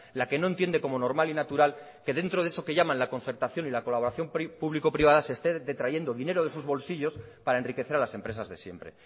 la que no entiende como normal y natural que dentro de eso que llaman la concertación y la colaboración público privada se esté detrayendo dinero de sus bolsillos para enriquecer a las empresas de siempre